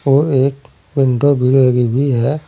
और एक पंखा भी लगी हुई है।